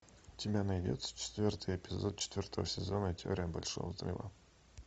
у тебя найдется четвертый эпизод четвертого сезона теория большого взрыва